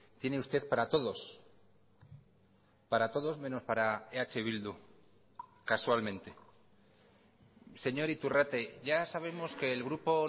tiene usted para todos para todos menos para eh bildu casualmente señor iturrate ya sabemos que el grupo